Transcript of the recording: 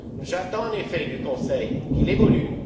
J'attends en effet du Conseil qu'il évolue.